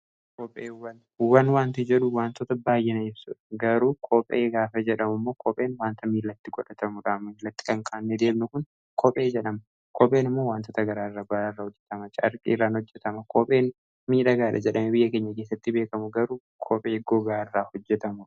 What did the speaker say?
Kopheewwan wan wanti jedhu wantoota baay'ina ibsu garuu koophee gaafa jedhamu immoo koopheen waanta miilatti godhatamudhaa. Miilatti kan kaawwannee deemnu kun koophee jedhama. Koopheen immoo wantoota garaaraa irraa hojjetama. caarqi irraan hojjetama. koopheen miidhagaadha jedhamee biyya keenya keessatti beekamu garuu koophee gogaa irraa hojjetamudha.